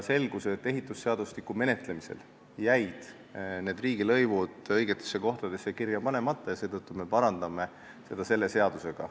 Selgus, et ehitusseadustiku menetlemisel jäid need riigilõivud õigetesse kohtadesse kirja panemata ja seetõttu me parandame seda viga selle seadusega.